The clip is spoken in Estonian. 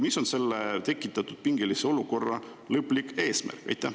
Mis on selle tekitatud pingelise olukorra lõplik eesmärk?